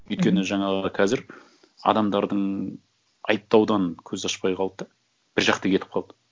өйткені жаңағы қазір адамдардың айыптаудан көз ашпай қалды да бір жақты кетіп қалды